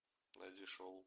найди шоу